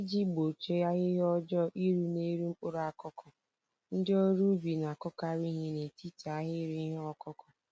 Iji gbochie ahịhịa ọjọọ iru n'elu mkpụrụ akụkụ, ndị ọrụ ubi na-akụkarị ìhè n'etiti ahịrị ihe ọkụkụ.